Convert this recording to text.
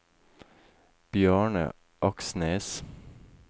Bjarne Aksnes